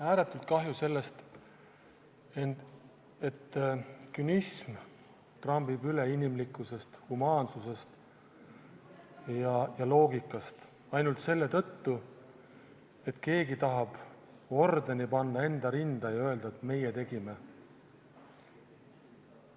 Ääretult kahju on sellest, et künism trambib üle inimlikkusest, humaansusest ja loogikast, ainult selle tõttu, et keegi tahab panna ordeni enda rinda ja öelda, et meie tegime.